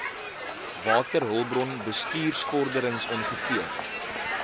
waterhulpbron bestuursvorderings ongeveer